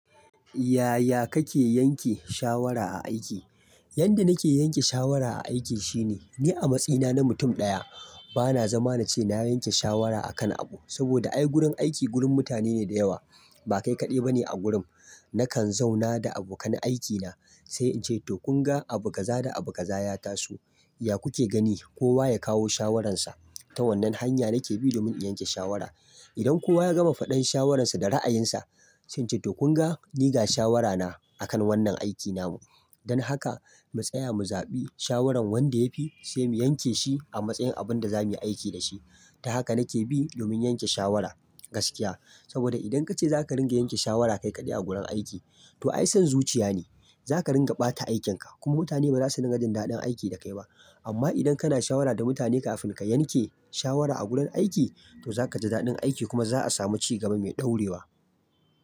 Yaya kake yanke shawara a aiki? Yadda nake yanke shawara a aiki shine, ni a matsayina na mutum ɗaya bana zama nace nayi yanke shawara akan abu, saboda ai gurin aiki gurin mutane ne da yawa, ba kai kaɗai bane a gurin. Nakan zauna da abokan aikina sai in ce to kun ga abu kaza da abu kaza ya taso, ya kuke gani kowa ya kawo shawararsa. Ta wannan hanya nake bi domin in yanke shawara. Idan kowa ya gama faɗan shawararsa da ra'ayinsa, sai nace to kun ga ni ga shawara na akan wannan aikin namu. Don haka mu tsaya mu zaɓi shawaran wanda yafi sai mu yanke shi a matsayin abin da zamu yi aiki da shi. Ta haka nake bi domin yanke shawara gaskiya. Saboda idan kace zaka ringa yanke shawara kai kaɗai a gurin aiki to ai son zuciya ne, zaka ringa ɓata aikin ka kuma mutane baza su dinga jin daɗin aiki da kai ba. Amma idan kana shawara da mutane kafin ka yanke shawara a gurin aiki to zaka ji daɗin aiki kuma za a samu cigaba mai ɗorewa.